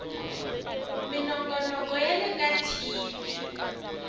minongonoko ya le ka tv